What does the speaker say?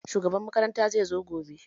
Shugaban makaranta zai zo gobe